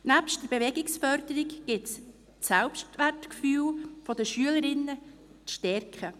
Neben der Bewegungsförderung gilt es das Selbstwertgefühl der Schülerinnen zu stärken.